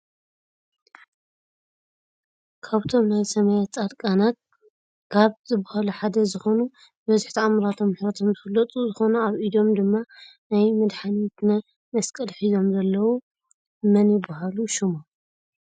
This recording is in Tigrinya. ካብቶም ናይ ሰማያት ፃድቃናት ካብ ዝብሃሉ ሓደ ዝኮኑ ብበዝሒ ታኣምራቶም ምሕረቶም ዝፍለጡ ዝኮኑኣብ ኢዶም ድማ ናይ መድሓነትነ መስቀል ሒዞም ዘለው መን ይብሃሉ ሽሞም?